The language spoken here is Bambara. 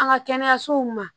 An ka kɛnɛyasow ma